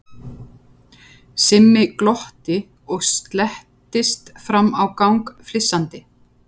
Simmi glotti og slettist fram á gang flissandi.